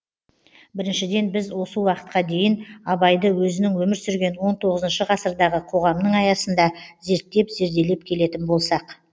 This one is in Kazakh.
біріншіден біз осы уақытқа дейін абайды өзінің өмір сүрген он тоғызыншы ғасырдағы қоғамның аясында зерттеп зерделеп келетін болсақ